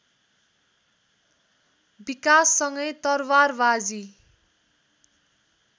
विकाससँगै तरवारबाजी